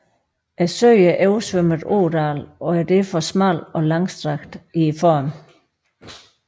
Søen er oversvømmet ådal og er derfor smal og langstrakt i formen